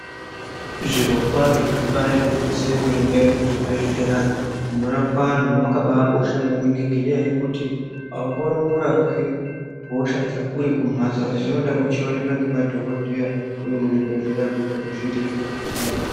Zvirokwazvo ibaari gwinyiso yemene , muzvibhedhlera munorapwa anhu mwakabaakosha maningi, ngenyaya yekuti aungamborapwi hosha dzako uri kumhatso, asi zvinoda uri kuoneka ngemadhokodheya ,uri muchibhedhleya, kuitira kuti zviite zviro zvinofamba zvakanaka.